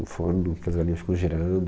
No forno, que as galinhas ficam girando.